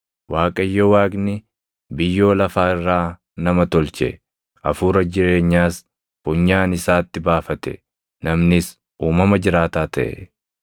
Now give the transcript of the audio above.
Waaqayyo Waaqni biyyoo lafaa irraa nama tolche; hafuura jireenyaas funyaan isaatti baafate; namnis uumama jiraataa taʼe.